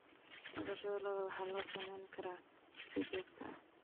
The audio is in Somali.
Dhaqashada lo'da waxaa loo samayn karaa si joogto ah.